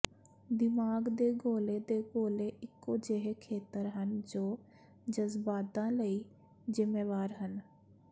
ਦਿਮਾਗ ਦੇ ਗੋਲੇ ਦੇ ਗੋਲੇ ਇੱਕੋ ਜਿਹੇ ਖੇਤਰ ਹਨ ਜੋ ਜਜ਼ਬਾਤਾਂ ਲਈ ਜ਼ਿੰਮੇਵਾਰ ਹਨ